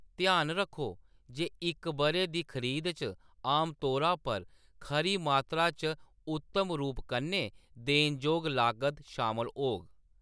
ध्यान रक्खो जे इक ब'रे दी खरीद च आमतौरा पर खरी मात्तरा च उत्तम रूप कन्नै देनजोग लागत शामल होग।